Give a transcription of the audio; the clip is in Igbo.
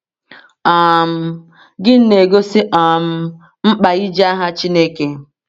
um Gịnị na-egosi um mkpa iji aha Chineke?